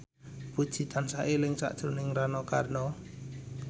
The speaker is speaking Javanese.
Puji tansah eling sakjroning Rano Karno